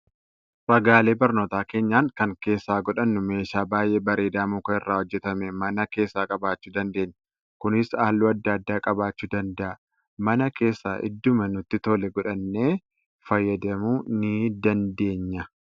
Ragaalee barnootaa keenyan kan keessa godhannu meeshaa baay'ee bareedaa muka irraa hojjetame mana keessaa qabaachuu dandeenya. Kunis halluu adda addaa qabaachuu danada'a. Mana keessaa idduma nutti tole godhannee fayyadamuu ni dandeenya.